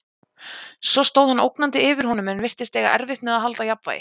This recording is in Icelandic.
Svo stóð hann ógnandi yfir honum en virtist eiga erfitt með að halda jafnvægi.